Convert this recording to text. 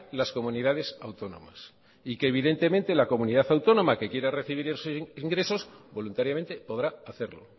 las comunidades autónomas y que evidentemente la comunidad autónoma que quiere recibir esos ingresos voluntariamente podrá hacerlo